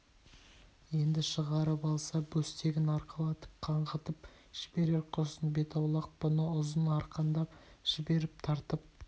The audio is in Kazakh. енді шығарып алса бөстегін арқалатып қаңғытып жіберер құрсын бет аулақ бұны ұзын арқандап жіберіп-тартып